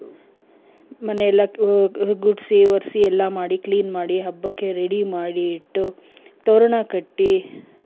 ಮನೆಯೆಲ್ಲ ಗುಡ್ಸಿ ಒರ್ಸಿ ಎಲ್ಲ ಮಾಡಿ clean ಮಾಡಿ ಹಬ್ಬಕ್ಕೆ ready ಮಾಡಿ ಇಟ್ಟು ತೋರಣ ಕಟ್ಟಿ ,